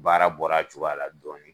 Baara bɔra cogoya a la dɔɔni.